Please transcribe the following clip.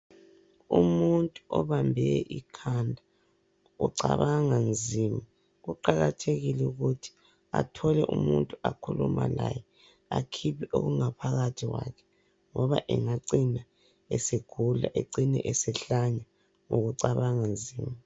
Umuntu obambe ikhanda ucabanga nzima. Kuqakathekile ukuthi athole umuntu akhuluma laye, akhiphe okungaphakathi kwakhe ngoba engacina esegula ecine esehlanya ngoba ucabanga nzima.